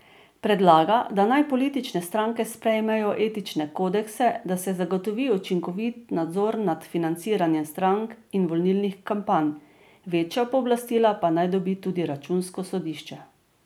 Predlaga, da naj politične stranke sprejmejo etične kodekse, da se zagotovi učinkovit nadzor nad financiranjem strank in volilnih kampanj, večja pooblastila pa naj dobi tudi računsko sodišče.